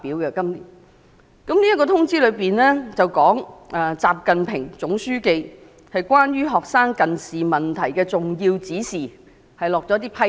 這項通知是習近平總書記對學生近視問題的重要指示，並就此下了一些批示。